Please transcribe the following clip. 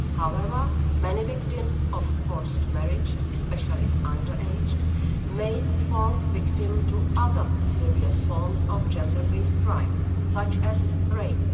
However, many victims of forced marriage, especially underaged, may fall victim to other serious forms of gender based crime, such as rape.